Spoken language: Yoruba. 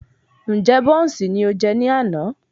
Ǹjẹ́ bọ́ùnsì ni o jẹ ní àná?